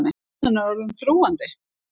Spennan er orðin þrúgandi.